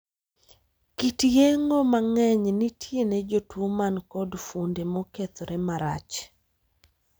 Kit yeng'o mang'eny nitie ne jotuo man kod fuonde mokethore marach.